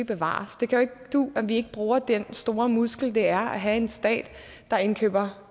bevares det kan jo ikke du at vi ikke bruger den store muskel det er at have en stat der indkøber